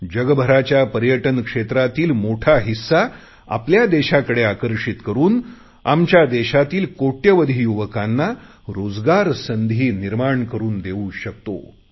जगभराच्या पर्यटन क्षेत्रातील मोठा हिस्सा आपल्या देशाकडे आकर्षित करुन आमच्या देशातील कोटयावधी युवकांना रोजगार संधी निर्माण करुन देऊ शकतो